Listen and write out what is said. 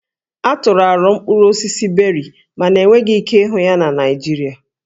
A tụrụ aro mkpụrụ osisi Beri mana enweghị ike ịhụ ya na Naịjirịa